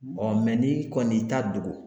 n'i kɔni y'i ta dogo